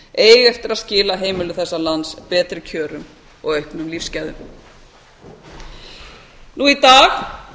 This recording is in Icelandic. eiga eftir að skila heimilum þessa lands betri kjörum og auknum lífsgæðum nú í dag